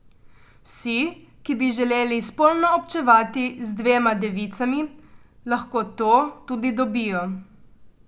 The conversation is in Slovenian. Vsi, ki bi želeli spolno občevati z dvema devicami, lahko to tudi dobijo.